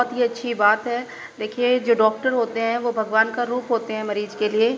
बहुत अच्छी बात है। देखिए जो डॉक्टर होते हैं वो भगवान का रूप होते हैं मरीज के लिए।